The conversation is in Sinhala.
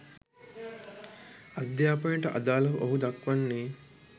අධ්‍යාපනයට අදාළව ඔහු දක්වන්නේ